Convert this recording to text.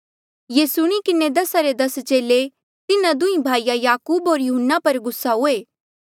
ये सुणी किन्हें दसा रे दस चेले तिन्हा दुंहीं भाईया याकूब होर यहून्ना पर गुस्सा हुए